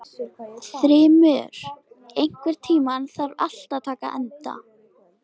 Þrymur, einhvern tímann þarf allt að taka enda.